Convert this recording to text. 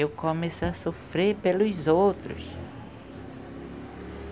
Eu comecei a sofrer pelos outros.